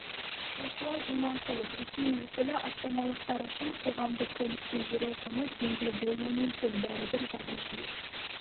руслан иманқұлов ресми өкілі астаналықтар үшін қоғамдық көлікте жүру құны теңге болуы мүмкін бәрібір жаңа жүйе